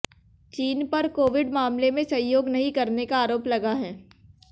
चीन पर कोविड मामले में सहयोग नहीं करने का आरोप लगा है